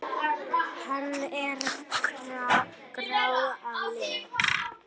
Hann er grár að lit.